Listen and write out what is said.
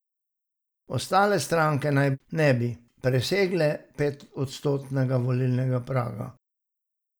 Ostale stranke naj ne bi presegle petodstotnega volilnega praga.